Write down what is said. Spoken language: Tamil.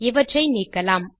இவற்றை நீக்கலாம்